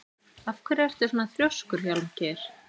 Af hverju ertu svona þrjóskur, Hjálmgeir?